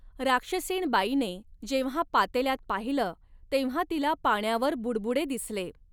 राक्षसीणबाईने जेव्हा पातेल्यात पाहिलं तेव्हा तिला पाण्यावर बुडबुडे दिसले.